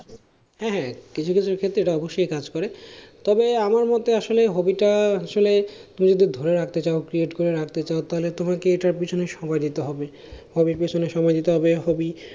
হ্যাঁ হ্যাঁ কিছু কিছু ক্ষেত্রে এটা অবশ্যই কাজ করে তবে আমার মতে আসলে hobby টা আসলে তুমি যদি ধরে রাখতে চাও create করে রাখতে চাও তাহলে তোমাকে এটার পেছনে সময় দিতে হবে hobby র পেছনে সময় দিতে হবে hobby